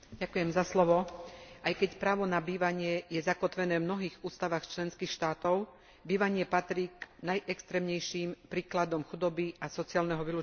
Aj keď právo na bývanie je zakotvené v mnohých ústavách členských štátov, bývanie patrí k najextrémnejším príkladom chudoby a sociálneho vylúčenia zo spoločnosti.